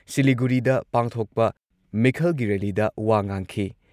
ꯁꯤꯂꯤꯒꯨꯔꯤꯗ ꯄꯥꯡꯊꯣꯛꯄ ꯃꯤꯈꯜꯒꯤ ꯔꯦꯜꯂꯤꯗ ꯋꯥ ꯉꯥꯡꯈꯤꯡ